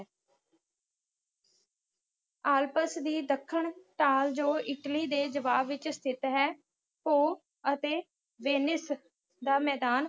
Alps ਦੀ ਦੱਖਣ ਢਾਲ ਜੀ ਇੱਟਲੀ ਦੇ ਜਵਾਬ ਵਿਚ ਸਥਿਤ ਹੈ ਉਹ ਅਤੇ ਵੇਨਿਸ ਦਾ ਮੈਦਾਨ